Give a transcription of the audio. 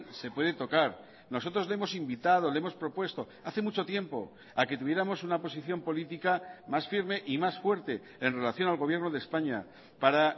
se puede tocar nosotros le hemos invitado le hemos propuesto hace mucho tiempo a que tuviéramos una posición política más firme y más fuerte en relación al gobierno de españa para